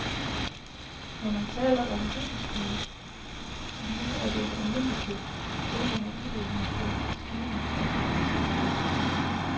Men når man taler om double speed, som nu er det almindelige, tænker man udelukkende på skivens omdrejningshastighed.